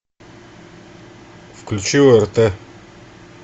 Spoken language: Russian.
включи орт